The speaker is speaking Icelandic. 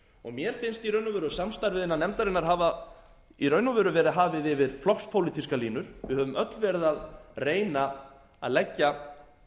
í raun og veru samstarfið innan nefndarinnar hafa verið hafið yfir flokkspólitískar línur við höfum öll verið að reyna að leggja